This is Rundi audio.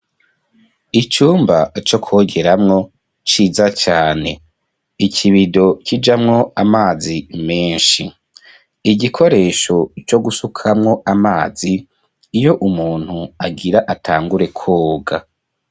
Icumba co kwogeramwo ciza cane ikibido kijamwo amazi menshi igikoresho co gusukamwo amazi iyo umuntu agira atangure kwoga.